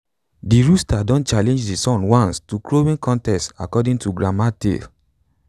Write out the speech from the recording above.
de rooster don challenge de sun once to a crowing contest according to grandma tale